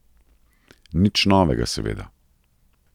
Nič novega, seveda.